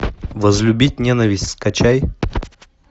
возлюбить ненависть скачай